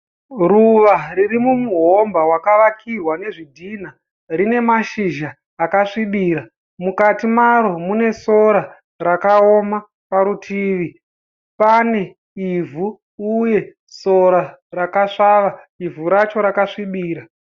Ruva riri mumuhomba wakavakirwa nezvidhinha rine mashizha akasvibira. Mukati maro mune sora rakaoma parutivi pane ivhu uye sora rakasvava, ivhu racho rakasvibira.